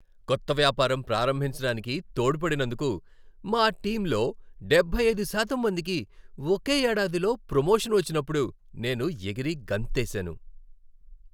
కొత్త వ్యాపారం ప్రారంభించడానికి తోడ్పడినందుకు మా టీంలో డెబ్బై అయిదు శాతం మందికి ఒకే ఏడాదిలో ప్రొమోషన్ వచ్చినప్పుడు నేను ఎగిరి గంతేసాను.